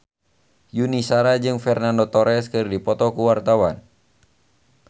Yuni Shara jeung Fernando Torres keur dipoto ku wartawan